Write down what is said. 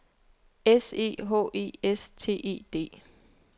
S E H E S T E D